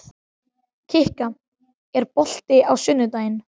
Kikka, er bolti á sunnudaginn?